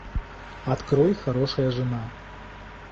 открой хорошая жена